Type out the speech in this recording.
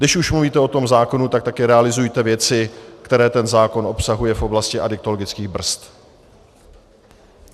Když už mluvíte o tom zákonu, tak také realizujte věci, které ten zákon obsahuje v oblasti adiktologických brzd.